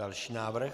Další návrh.